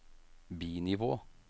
bi-nivå